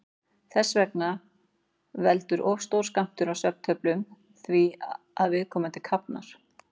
Þess vegna veldur of stór skammtur af svefntöflum því að viðkomandi kafnar.